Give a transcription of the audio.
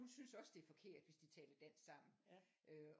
Hun synes også det er forkert hvis de taler dansk sammen